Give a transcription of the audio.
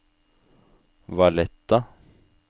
Valletta